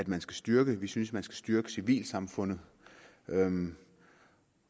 man skal styrke vi synes man skal styrke civilsamfundet